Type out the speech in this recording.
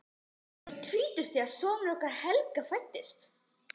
Ég var tvítug þegar sonur okkar Helga fæddist.